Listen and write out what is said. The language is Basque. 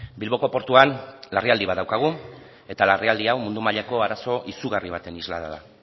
bilboko portuan larrialdi bat daukagu eta larrialdi hau mundu mailako arazo izugarri baten islada